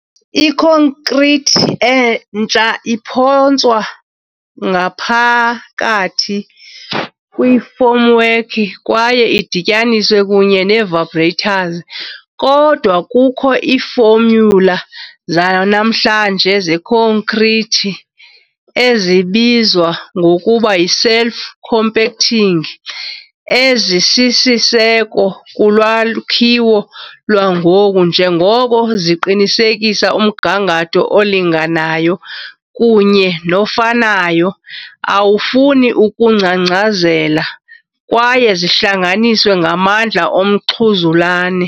Ikhonkrithi entsha iphonswa ngaphakathi kwifomwork kwaye idityaniswe kunye ne -vibrators, kodwa kukho iifomyula zanamhlanje zekhonkrithi ezibizwa ngokuba yi "self-compacting", ezisisiseko kulwakhiwo lwangoku njengoko ziqinisekisa umgangatho olinganayo kunye nofanayo, awufuni ukungcangcazela kwaye zihlanganiswe ngamandla omxhuzulane.